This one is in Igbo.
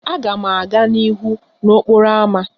Aga m aga n'ihu n'okporo ámá.